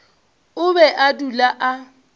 o be a dula a